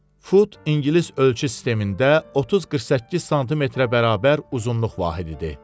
Fut ingilis ölçü sistemində 30-48 sm-ə bərabər uzunluq vahididir.